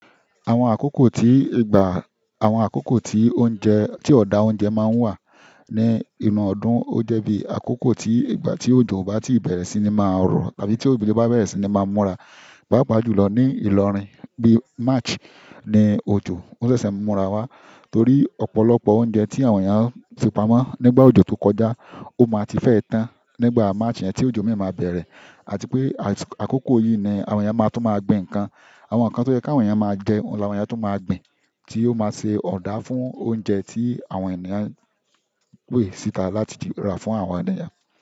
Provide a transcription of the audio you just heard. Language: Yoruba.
Àwọn àkókò tí ìgbà àwọn àkókò tí oúnjẹ tí ọ̀dà oúnjẹ máa ń wà ní inú ọdún ó jẹ́ bí àkókò tí ìgbà tí òjò o bá ti bẹ̀rẹ̀ sí ní máa rọ̀ tàbí tí òjò bá bẹ̀rẹ̀ sí ní máa múra. Paapàá jùlọ ní ìlọrin bí March ni òjò, ó ṣẹ̀ṣẹ̀ ń múra wá torí ọ̀pọ̀lọpọ̀ oúnjẹ tí àwọn èèyàn fi pamọ́ nígbà òjò tó kọjá, ó máa ti fẹ́ tán nígbà March yẹn tí òjò mìíràn máa bẹ̀rẹ̀. Àti pé àkókò yìí ni àwọn èèyàn máa tún máa gbin nǹkan. Àwọn nǹkan tó yẹ́ kí àwọn èèyàn máa jẹ oun ni àwọn èèyàn tún máa gbin tí yó máa ṣe ọ̀dà fún oúnjẹ tí àwọn ènìyàn pé síta láti rà fún àwọn ènìyàn.